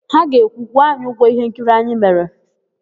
Ha ga-ekwu, "kwụọ anyị ụgwọ íhénkiri anyị mere"!